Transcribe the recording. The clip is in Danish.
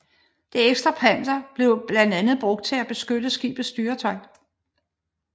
Det ekstra panser blev blandt andet brugt til at beskytte skibets styretøj